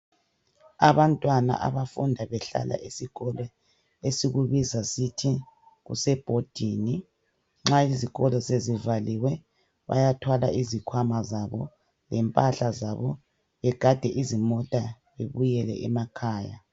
Abantwana abafunda behlala esikole esikubiza sithi kuseboarding ,nxa izikolo sezivaliwe, bayathwala izikhwama zabo lempahla zabo, begade izimota bebuyele emakhaya.